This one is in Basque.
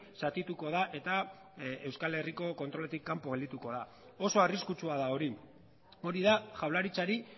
zatituko da eta euskal herriko kontroletik kanpo geldituko da oso arriskutsua da hori hori da jaurlaritzari